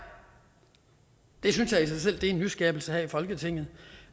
det synes jeg i sig selv er en nyskabelse her i folketinget